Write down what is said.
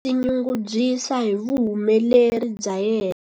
A nga twa a tinyungubyisa hi vuhumeleri bya yena.